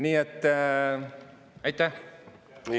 Nii et aitäh!